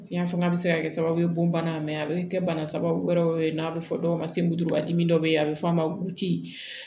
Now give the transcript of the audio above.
Fiɲɛ fanga bɛ se ka kɛ sababu ye bon bana a bɛ kɛ bana sababu wɛrɛw ye n'a bɛ fɔ dɔw ma semurudimi dɔ bɛ yen a bɛ f'a ma butiki